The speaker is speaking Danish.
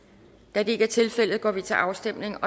da det ikke er tilfældet går vi til afstemning